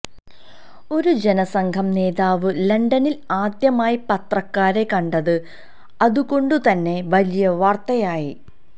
ഒരു ജനസംഘം നേതാവ് ലണ്ടനില് ആദ്യമായി പത്രക്കാരെ കണ്ടത് അതുകൊണ്ടുതന്നെ വലിയ വാര്ത്തയായി